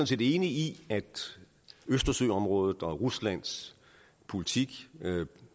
set enig i at østersøområdet og ruslands politik